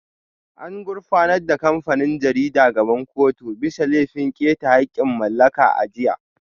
An gurfanar da kamfanin jaridar gaban kotu bisa laifin keta haƙƙin mallaka a jiya